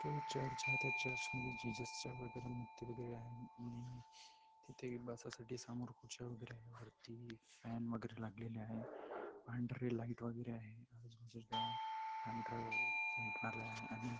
इकडे चर्च आहे. त्या चर्च मधे जीजस च्या वगैरे मूर्ती वगैरे आहेत आणि तिथे बसायसाठी समोर खुर्च्या वगैरे आहेत. वरती इ फॅन वगेरे लागलेले आहे. पांढरे लाइट वगैरे आहे. अजून सुद्धा पांढर अ पेंट मारलेला आहे आणि --